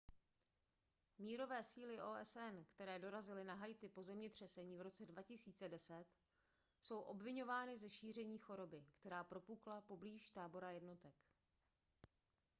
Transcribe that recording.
mírové síly osn které dorazily na haiti po zemětřesení v roce 2010 jsou obviňovány ze šíření choroby která propukla poblíž tábora jednotek